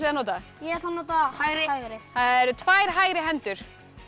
að nota ég ætla að nota hægri hægri það eru tvær hægri hendur